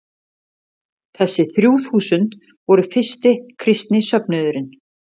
Þessi þrjú þúsund voru fyrsti kristni söfnuðurinn.